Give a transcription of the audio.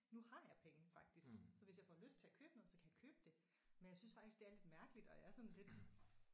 Nu har jeg penge faktisk så hvis jeg får lyst til at købe noget så kan jeg købe det. Men jeg synes faktisk det er lidt mærkeligt og jeg er sådan lidt